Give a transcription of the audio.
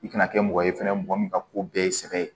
I kana kɛ mɔgɔ ye fɛnɛ mɔgɔ min ka ko bɛɛ ye sɛbɛ ye